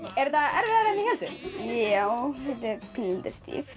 er þetta erfiðara en þið hélduð já þetta er pínulítið stíft